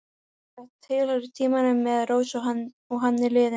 Þetta tilheyrir tímanum með Rósu og hann er liðinn.